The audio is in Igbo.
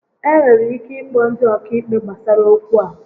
E nwere ike ịkpọ ndị ọkaikpe gbasara okwu a